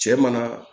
Cɛ mana